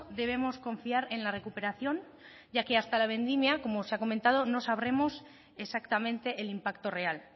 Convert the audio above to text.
debemos confiar en la recuperación ya que hasta la vendimia como se ha comentado no sabremos exactamente el impacto real